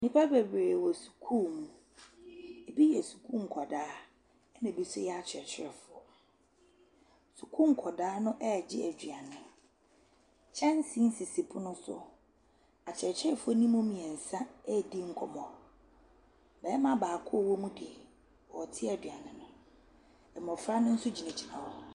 Nnipa bebree wɔ sukuu mu. Ebi yɛ sukuu nkwadaa, ɛnna ebi nso yɛ akyerɛkyerɛfoɔ. Sukuu nkwadaa no regye aduane. Kyɛnse sisi pono so. Akyerɛkyerɛfoɔ no mu mmeɛnsa redi nkɔmmɔ. Barima baako a ɔwɔ mu deɛ, ɔrete aduane. Mmɔfra no nso gyinagyina hɔ.